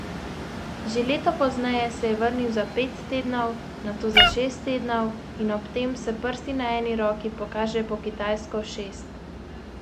Že leto pozneje se je vrnil za pet tednov, nato za šest tednov, in ob tem s prsti na eni roki pokaže po kitajsko šest.